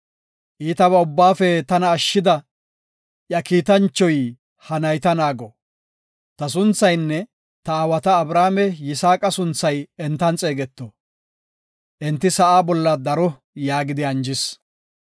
Iitaba ubbaafe tana ashshida, iya kiitanchoy, ha nayta naago. Ta sunthaynne, ta aawata Abrahaame Yisaaqa sunthay entan xeegeto. Enti sa7a bolla daro” yaagidi anjis.